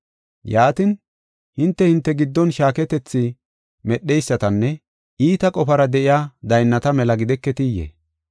Yaatin, hinte, hinte giddon shaaketethi medheysatanne iita qofara de7iya daynnata mela gideketiyee?